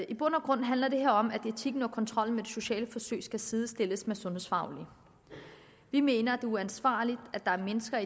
i bund og grund handler det her om at etikken og kontrollen med de sociale forsøg skal sidestilles med de sundhedsfaglige vi mener at uansvarligt at der er mennesker